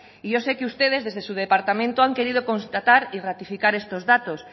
y yo sé que ustedes desde su departamento han querido constatar y ratificar estos datos